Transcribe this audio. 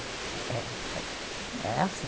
É, mas era assim.